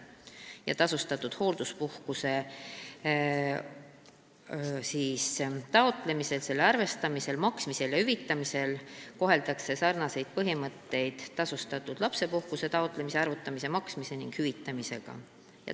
Tolle tasustatud hoolduspuhkuse taotlemisel, selle arvestamisel, maksmisel ja hüvitamisel kohaldatakse samasuguseid põhimõtteid kui tasustatud lapsepuhkuse taotlemise, arvutamise, maksmise ning hüvitamise puhul.